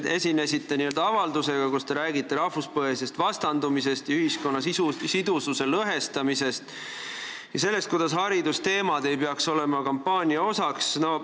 Te esinesite meile avaldusega, kus te rääkisite rahvuspõhisest vastandumisest ja ühiskonna lõhestamisest ja sellest, et haridusteemad ei peaks olema kampaania osaks.